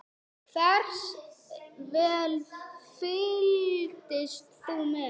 Hversu vel fylgdist þú með?